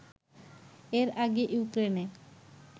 এর আগে ইউক্রেনে